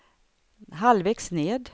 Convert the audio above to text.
halvvägs ned